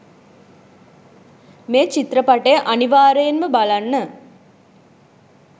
මේ චිත්‍රපටය අනිවාර්යෙන්ම බලන්න